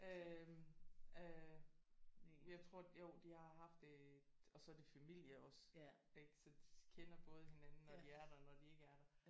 Øh øh jeg tror jo de har haft det og så er det familie også ik så de kender både hinanden når de er der og når de ikke er der